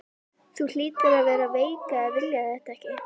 Þú hlýtur að vera veik að vilja þetta ekki!